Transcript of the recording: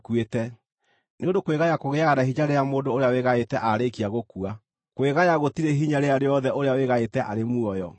nĩ ũndũ kwĩgaya kũgĩaga na hinya rĩrĩa mũndũ ũrĩa wĩgaĩte aarĩkia gũkua; kwĩgaya gũtirĩ hinya rĩrĩa rĩothe ũrĩa wĩgaĩte arĩ muoyo.